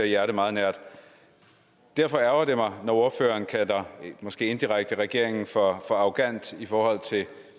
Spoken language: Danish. hjerte meget nært derfor ærgrer det mig når ordføreren måske indirekte kalder regeringen for arrogant i forhold til